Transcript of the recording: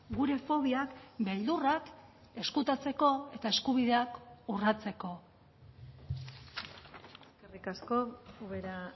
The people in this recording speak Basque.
gure fobiak beldurrak ezkutatzeko eta eskubideak urratzeko eskerrik asko ubera